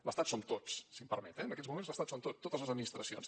l’estat som tots si m’ho permet eh en aquests moments l’estat som tots totes les administracions